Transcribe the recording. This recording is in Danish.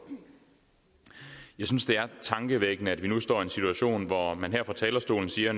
jeg synes det er tankevækkende at vi nu står i en situation hvor man her fra talerstolen siger